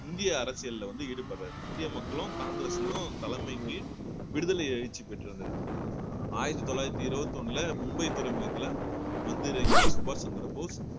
இந்திய அரசியல்ல வந்து ஈடுபடுறாரு இந்திய மக்களும் காங்கிரஸ்லயும் தலைமைக்கு விடுதலை எழுச்சி பெற்றிருந்தது ஆயிரத்தி தொள்ளாயிரத்தி இருபத்தி ஒண்ணுல மும்பை துறைமுகத்தில வந்திறங்கிய சுபாஷ் சந்திரபோஸ்